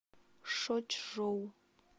шочжоу